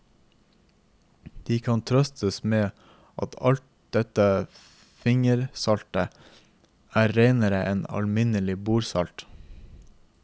De kan trøstes med at dette fingersaltet er renere enn alminnelig bordsalt.